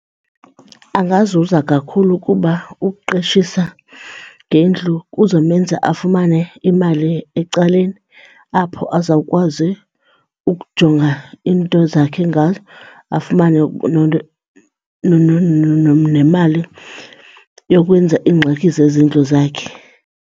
Angazuza kakhulu ukuba ukuqeshisa ngendlu kuzomenza afumane imali ecaleni apho azawukwazi ukujonga iinto zakhe ngayo afumane nemali yokwenza iingxaki zezindlu zakhe.